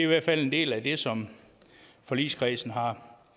hvert fald en del af det som forligskredsen har